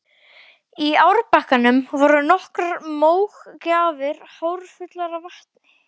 Í árbakkanum voru nokkrar mógrafir hálffullar af vatni.